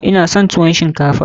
Ina son tuwon shinkafa.